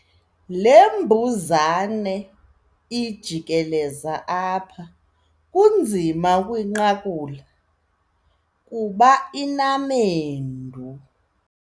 Le mbuzane ijikeleza apha kunzima ukuyinqakula kuba inamendu.